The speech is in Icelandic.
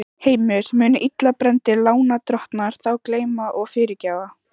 Heimir: Munu illa brenndir lánadrottnar þá gleyma og fyrirgefa?